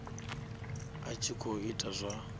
a tshi khou ita zwa